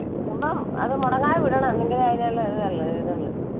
പോകുമ്പോ അത് മുടങ്ങാതെ വിടണം. എങ്കിലേ അതിനുള്ള ഇത് ഒള്ളു ഇത് ഒള്ളു.